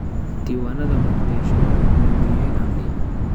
Diiwaanada booqdayaashu waxay muhiim u yihiin amniga.